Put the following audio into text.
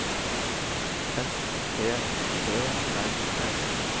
S P Ø R S